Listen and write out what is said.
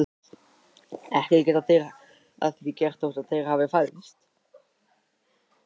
Ekki geta þeir að því gert þótt þeir hafi fæðst.